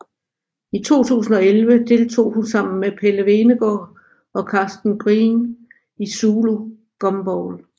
I 2011 deltog hun sammen med Pelle Hvenegaard og Karsten Green i Zulu Gumball